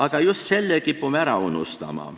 Aga just selle kipume ära unustama.